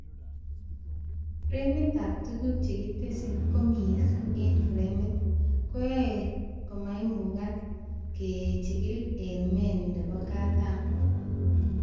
Fremitab tuguk chekitesyii koo mising eng fremit, koyoe komaimukak kegil eng menu nebo katam